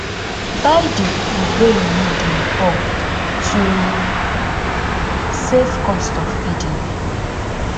buy di food wey you need in bulk to save cost of feeding